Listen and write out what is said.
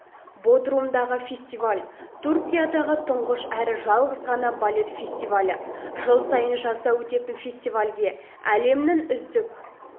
бодрумдағы фестиваль түркиядағы тұңғыш әрі жалғыз ғана балет фестивалі жыл сайын жазда өтетін фестивальге әлемнің үздік